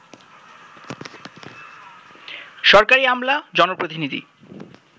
সরকারি আমলা, জনপ্রতিনিধি